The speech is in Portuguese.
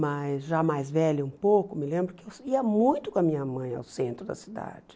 Mas já mais velha um pouco, me lembro que eu ia muito com a minha mãe ao centro da cidade.